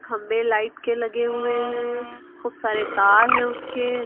खंभे लाइट के लगे हुए हैं खूब सारे तार हैं उसके--